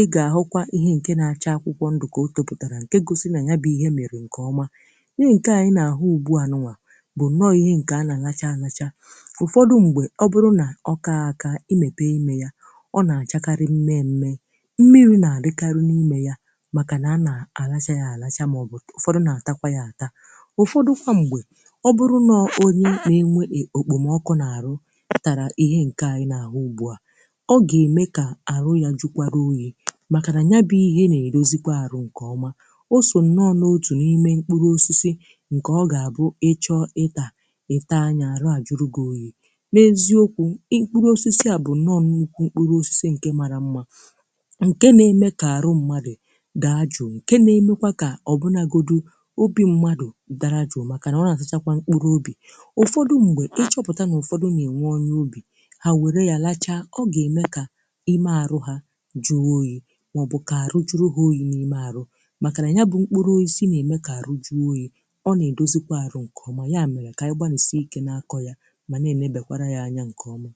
ị ga-ahụkwa akwụkwọ ndụ akwụkwọ ndụ na-apụta, nke na-egosi na ugbo ahụ e lekọtara nke ọma. Nke a bụ ya mere anyị ji hụ ezigbo nsonaazụ taa. Ụfọdụ ihe ndị a kụrụ na-enye ndò, ma ọ bụrụ na e kwe ka ha toro nke ọma, ha na-enye ebe e zoro onwe, um ma na-enyekwa aka ịchekwa mmiri. Ụfọdụ oge, a na-eji ha dịka nri maọbụ ọgwụ. Mgbe mmadụ jụrụ ike, maọbụ kpoo ọkụ ma nọdụ n’okpuru ha, ndò ahụ na-eme ka ahụ dị jụụ ma mee ka obi dị mfe. N’eziokwu, osisi a bụ nkwụ, bụ ezigbo osisi bara uru nke na-enye udo na ịdị jụụ n’obi. Ọ na-eme ka ahụ dị jụụ, ma mgbe ụfọdụ na-eme ka obi mmadụ nke dara mba nweta udo ọzọ. Nke a bụ ya mere ọtụtụ mmadụ ji na-anọdụ n’okpuru ya n’oge ifufe dị jụụ, maọbụ rie mkpụrụ ya. N’eziokwu, ọ bụ osisi na-enye nkasi obi, ike na ume, ọkachasị maka ndị na-akọ ugbo.